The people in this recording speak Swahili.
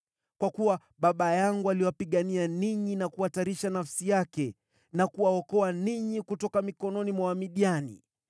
kwa kuwa baba yangu aliwapigania ninyi na kuhatarisha nafsi yake na kuwaokoa ninyi kutoka mikononi mwa Wamidiani